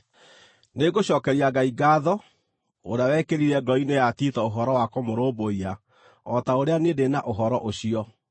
Nĩngũcookeria Ngai ngaatho, ũrĩa wekĩrire ngoro-inĩ ya Tito ũhoro wa kũmũrũmbũiya o ta ũrĩa niĩ ndĩ na ũhoro ũcio.